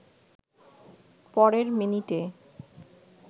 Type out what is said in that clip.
পরের মিনিটে